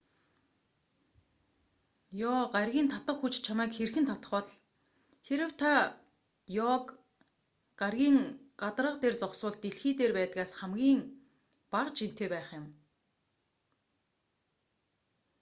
ёо гарагийн татах хүч чамайг хэрхэн татах бол хэрэв та ёо гарагийн гадарга дээр зогсвол дэлхий дээр байдгаас бага жинтэй байх юм